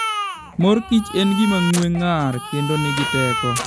Mor kich en gima ng'we ng'ar kendo nigi teko.